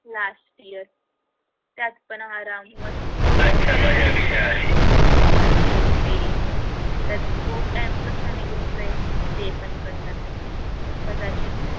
last year त्यात पण आराम मस्ती झाल तर ते ही त्यात तो stand कसा निघून जाइल हे पण कळणार नाही मग कदाचित